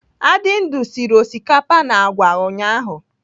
Adindu sịrị osikapa na àgwà ụnyaahụ.